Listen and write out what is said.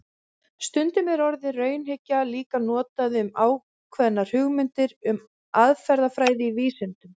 Stundum er orðið raunhyggja líka notað um ákveðnar hugmyndir um aðferðafræði í vísindum.